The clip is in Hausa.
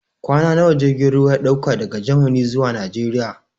Kwana nawa jirgin ruwa yake ɗauka daga Gamani zuwa Najeriya?